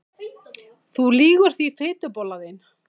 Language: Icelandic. Þú lýgur því fitubollan þín!